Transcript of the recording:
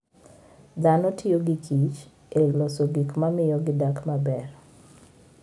Dhano tiyo gi kich e loso gik ma miyo gidak maber.